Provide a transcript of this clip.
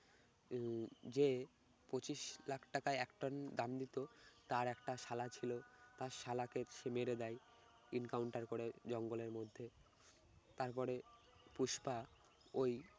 উম যে পঁচিশ লাখ টাকায় এক টন দাম দিত তার একটা শালা ছিল তার শালাকে সে মেরে দেয় incounter করে জঙ্গলের মধ্যে তারপরে পুষ্পা ওই